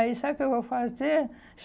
Aí, sabe o que eu vou fazer?